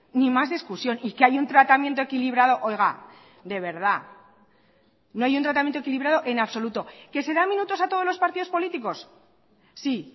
ni más discusión y que hay un tratamiento equilibrado oiga de verdad no hay un tratamiento equilibrado en absoluto que se da minutos a todos los partidos políticos sí